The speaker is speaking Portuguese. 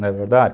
Não é verdade?